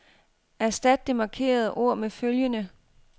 Erstat det markerede ord med følgende.